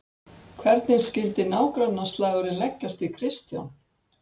Hvernig skyldi nágrannaslagurinn leggjast í Kristján?